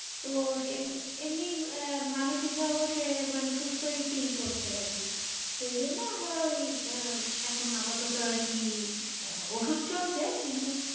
তো এমনি আহ মানসিক ভাবেও সে মানে সুস্থই fill করছে আর কি। সেই জন্য আমরা ওই আহ এখন আপাতত আর কি ওষুধ চলছে কিন্তু,